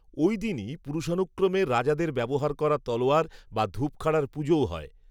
ওই দিনই পুরুষানুক্রমে রাজাদের ব্যবহার করা তলোয়ার বা ধূপখাড়ার পুজোও হয়